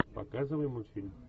показывай мультфильм